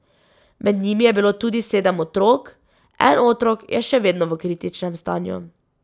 Med njimi je bilo tudi sedem otrok, en otrok je še vedno v kritičnem stanju.